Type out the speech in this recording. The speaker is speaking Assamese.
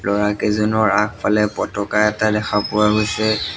ল'ৰাকেইজনৰ আগফালে পতাকা এটা দেখা পোৱা গৈছে।